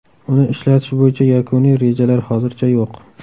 Uni ishlatish bo‘yicha yakuniy rejalar hozircha yo‘q.